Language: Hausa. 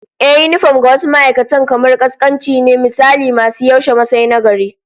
Ehh, yinifom ga wasu ma'aikatan kamar kaskanci ne, misali masu yaushe Masai na gari